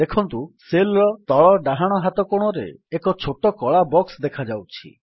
ଦେଖନ୍ତୁ ସେଲ୍ ର ତଳ ଡାହାଣ ହାତ କୋଣରେ ଏକ ଛୋଟ କଳା ବକ୍ସ ଦେଖାଯାଉଛି